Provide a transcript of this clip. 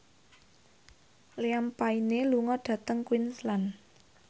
Liam Payne lunga dhateng Queensland